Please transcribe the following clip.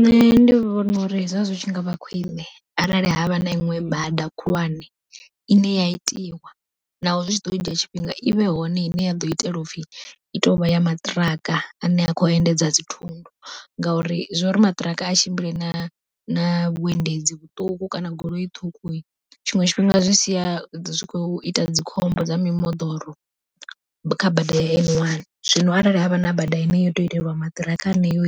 Nṋe ndi vhona uri zwazwi tshi ngavha khwiṋe arali havha na iṋwe bada khulwane, ine ya itiwa naho zwi ḓo dzhia tshifhinga i vhe hone ine ya ḓo itela upfhi i tovha ya maṱiraka ane a kho endedza dzithundu. Ngauri zwori maṱiraka a tshimbile na na vhuendedzi vhuṱuku kana goloi ṱhukhu, tshiṅwe tshifhinga zwi sia zwi khou ita dzi khombo dza mimoḓoro kha bada ya N one zwino arali havha na bada ine yoto itelwa maṱiraka heneyo,